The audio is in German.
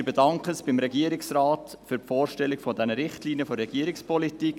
Wir bedanken uns beim Regierungsrat für die Vorstellung der Richtlinien der Regierungspolitik.